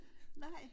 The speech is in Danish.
Nej